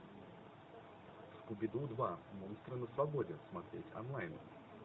скуби ду два монстры на свободе смотреть онлайн